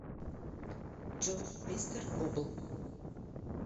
джой мистер бубл